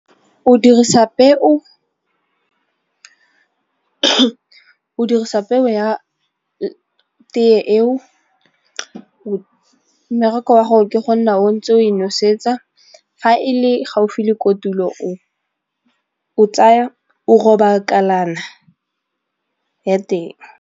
O dirisa peo ya tee eo, mmereko wa gore ke go nna o ntse o e nosetsa ga e le gaufi le kotulo o tsaya o roba kalana ya teng.